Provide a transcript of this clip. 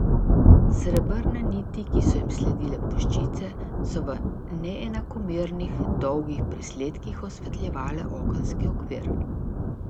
Srebrne niti, ki so jim sledile puščice, so v neenakomernih, dolgih presledkih osvetljevale okenski okvir.